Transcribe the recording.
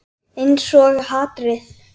Einsog hatrið.